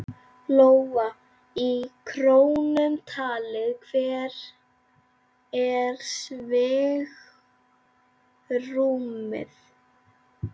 Lóa: Í krónum talið, hvert er svigrúmið?